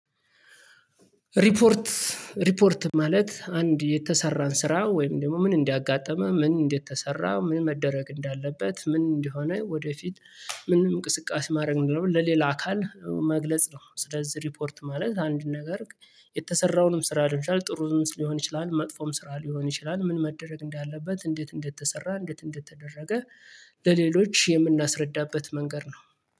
ሪፖርት? ሪፖርት ማለት አንድ የተሰራን ስራ ወይም ደግሞ ምን እንዲያጋጥመህ ምን እንዴት እንደተሰራ ምን መደረግ እንዳለበት ምን እንደሆነ ወደፊት? ምንም እንቅስቃሴ ማድረግ ምንድነው ለሌላ አካል መግለጽ ነው። ስለዚህ ሪፖርት ማለት አንድ ነገር? የተሰራውንም ስራ አድንሻል ጥሩ ሊሆን ይችላል መጥፎም ስራ ሊሆን ይችላል ምን መደረግ እንዳለበት እንዴት እንደተሰራ እንዴት እንደተደረገ። ለሌሎች የምናስረዳበት መንገድ ነው